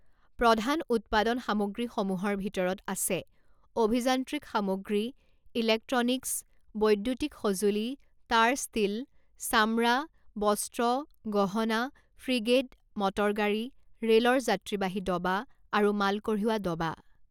প্ৰধান উৎপাদন সামগ্ৰীসমূহৰ ভিতৰত আছে অভিযান্ত্ৰিক সামগ্ৰী, ইলেক্ট্ৰনিকছ, বৈদ্যুতিক সঁজুলি, তাঁৰ, ষ্টীল, চামৰা, বস্ত্ৰ, গহনা, ফ্ৰিগেট, মটৰগাড়ী, ৰে'লৰ যাত্ৰীবাহী দবা আৰু মাল কঢ়িওৱা দবা।